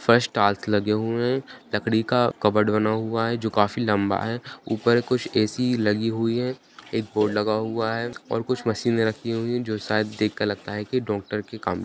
फर्श टाइल्स लगे हुए हैं लकड़ी का कबर्ड बना हुआ है जो काफी लंबा है। उपर कुछ ए.सी. लगी हुई है एक बोर्ड लगा हुआ है और कुछ मशीनें रखी हुई हैं जो शायद देख कर लगता है की डॉक्टर की काम --